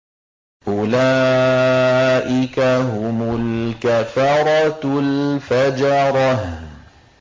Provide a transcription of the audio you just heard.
أُولَٰئِكَ هُمُ الْكَفَرَةُ الْفَجَرَةُ